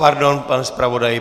Pardon, pane zpravodaji.